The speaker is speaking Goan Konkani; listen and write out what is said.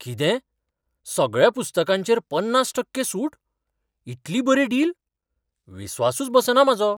कितें? सगळ्या पुस्तकांचेर पन्नास टक्के सूट?, इतली बरी डील? विस्वासूच बसना म्हाजो!